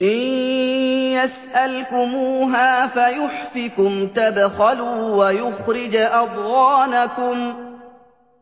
إِن يَسْأَلْكُمُوهَا فَيُحْفِكُمْ تَبْخَلُوا وَيُخْرِجْ أَضْغَانَكُمْ